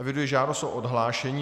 Eviduji žádost o odhlášení.